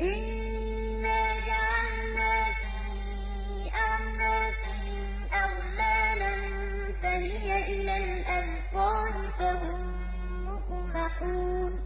إِنَّا جَعَلْنَا فِي أَعْنَاقِهِمْ أَغْلَالًا فَهِيَ إِلَى الْأَذْقَانِ فَهُم مُّقْمَحُونَ